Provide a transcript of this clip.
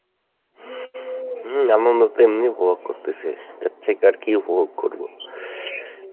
হম আনন্দ তো এমনেও উপভোগ করতেছি, এর থেকে আর কী উপভোগ করবো?